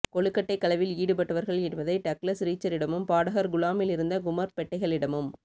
கொழுக்கட்டைக் களவில் ஈடுபட்டவர்கள் என்பதை டக்ளஸ் ரீச்சரிடமும் பாடகர் குளாமிலிருந்த குமர்ப் பெட்டைகளிடமும்